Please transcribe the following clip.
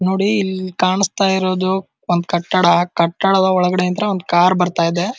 ನೋಡಿ ಇಲ್ಲಿ ಕಾಣಿಸ್ತಾ ಇರೋದು ಒಂದ್ ಕಟ್ಟಡ ಕಟ್ಟಡದ ಒಳಗಡೆ ಇಂದ ಒಂದ್ ಕಾರ್ ಬರ್ತಾ ಇದೆ --